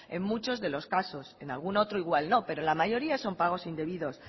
en muchos de los casos en algún otro igual no pero en la mayoría son pagos indebidos